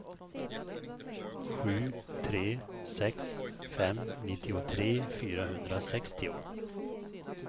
sju tre sex fem nittiotre fyrahundrasextio